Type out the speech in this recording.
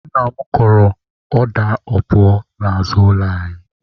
Nna m kọrọ ọda opuo n'azụ ụlọ anyị.